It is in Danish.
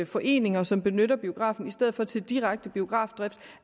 foreninger som benytter biografen i stedet for til direkte biografdrift